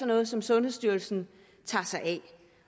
noget som sundhedsstyrelsen tager sig af